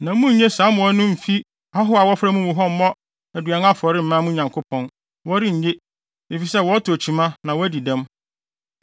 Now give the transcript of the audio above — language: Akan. na munnye saa mmoa no mmfi ahɔho a wɔfra mo mu hɔ mmfa mmɔ aduan afɔre mma mo Nyankopɔn. Wɔrennye, efisɛ wɔtɔ kyima na wɔadi dɛm.’ ”